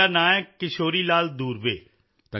sir ਮੇਰਾ ਨਾਂ ਹੈ ਕਿਸ਼ੋਰੀ ਲਾਲ ਦੂਰਵੇ